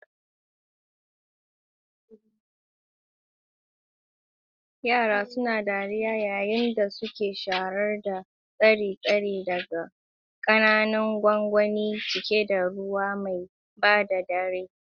Yara suna dariya yayin da suke shayar da tsire-tsire daga ƙananan gwangwani cike da ruwa mai ba da rai.